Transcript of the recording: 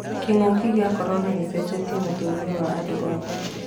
Kĩng'ũki gĩa Korona gĩcenjetie mũtũrĩre wa andũ othe.